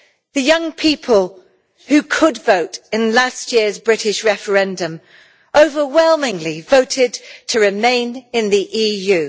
The young people who could vote in last year's British referendum overwhelmingly voted to remain in the EU.